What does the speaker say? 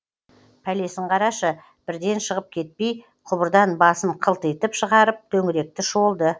пәлесін қарашы бірден шығып кетпей құбырдан басын қылтитып шығарып төңіректі шолды